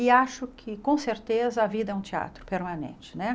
E acho que, com certeza, a vida é um teatro permanente, né?